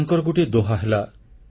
ତାଙ୍କର ଗୋଟିଏ ଦୋହା ହେଲା